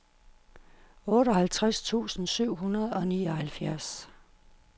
otteoghalvtreds tusind syv hundrede og nioghalvfjerds